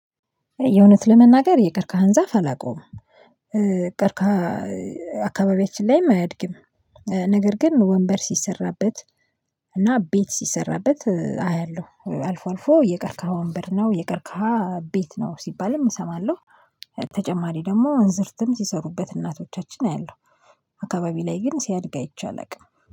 የእውነት ለመናገር የቀርካህን ዛፍ አላውቀውም። ቀርካህ። አካባቢያችን ላይም አያድግም። ነገር ግን ወንበር ሲሰራበት እና ቤት ሲሰራበት አያለሁ አልፎ አልፎ የቀርካ ወንበር ነው የቀርካ ቤት ነው ሲባልም እሰማለሁ። ተጨማሪ ደግሞ እንዝርትም ሲሰሩበት እናቶቻችን አያለሁ። አካባቢ ላይ ግን ሲያድግ አይቻልም